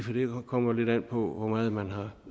kommer lidt an på hvor meget man har